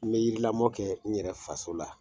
N be yiri lamɔ kɛ n yɛrɛ faso la